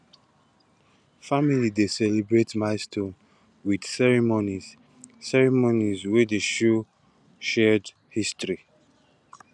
family dey celebrate milestones with ceremonies ceremonies wey show shared history